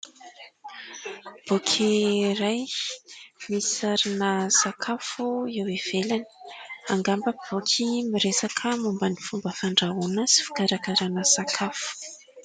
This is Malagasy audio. Boky iray misy sarina sakafo eo ivelany, angamba boky miresaka momba ny fomba fandrahoana sy fikarakarana sakafo.